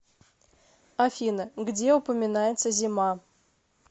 афина где упоминается зима